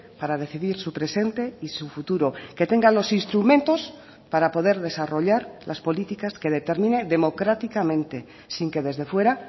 para decidir su presente y su futuro que tenga los instrumentos para poder desarrollar las políticas que determine democráticamente sin que desde fuera